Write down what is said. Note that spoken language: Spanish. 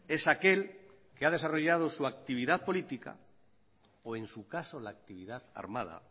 es aquel que ha desarrollado su actividad política o en su caso la actividad armada